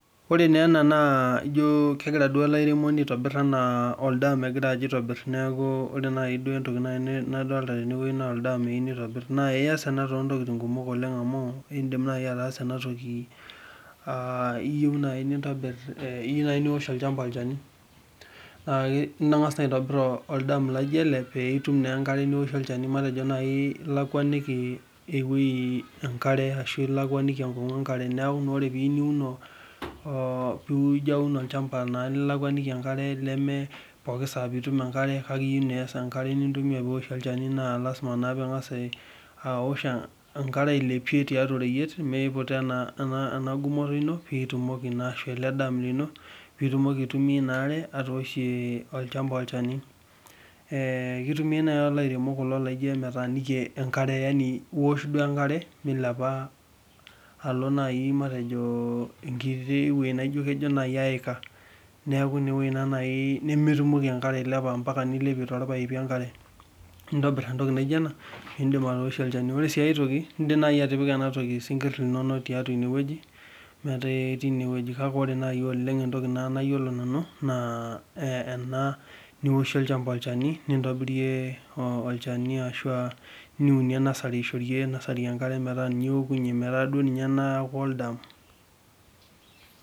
Ore Neena naa ijoo kegira duo ele airemoni aitobirr anaa duo oldaam egira aitobiru ore naaji entoki nadolita naa oldaam egira aitobiru, naa ias ena toontokitin kumok amu indim naaji atalaa ena toki iyieu naaji niwosh olchamba olchani, aa ningas naa aitobir oldaam laaijo ele peeitum naa atoosho olchani, matejo naaji ilakwaniki enkong'u enkare neeku naa ore piiyieu niiun olchamba lilakwaniki enkare leme pooki nitum enkare kake iyieu naa niwosh olchani naa lasima piiwosh enkare ailepie tiaatua oreyiet metijing'a ena gumoto ino ashuu ele daam lino piitumoki aaitumia inaare atooshie olchani ee kitumiya naaji kulo airemok laaijo emetaaniki enkare yani iwosh duo enkare, milapa alo enkiti wueji naaijo duo naaji keika nemetumoki ankare ailepa mmeintobira entoki naaijo ena. Ore sii enkae indim naaji atipika ena toki isinkir tiaatua ine wueji metaa ketii ine wueji kake ore naaji entoki nayiolo nanu naa eniwoshie olchamba olchani, nitumiya nasari metaa duo ninye iokunye metaa duo oldaam.